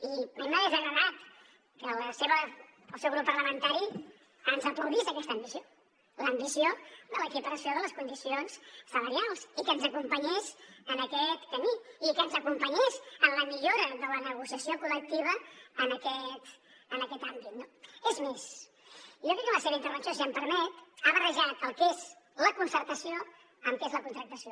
i a mi m’hagués agradat que el seu grup parlamentari ens aplaudís aquesta ambició l’ambició de l’equiparació de les condicions salarials i que ens acompanyés en aquest camí i que ens acompanyés en la millora de la negociació col·lectiva en aquest àmbit no és més jo crec que en la seva intervenció si m’ho permet ha barrejat el que és la concertació amb què és la contractació